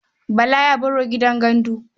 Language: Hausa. Bala ya baro gidan gandu.